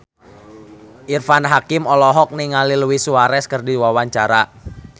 Irfan Hakim olohok ningali Luis Suarez keur diwawancara